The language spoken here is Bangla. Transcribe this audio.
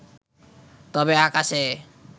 তবে আকাশে